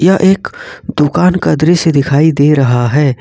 यह एक दुकान का दृश्य दिखाई दे रहा हैं।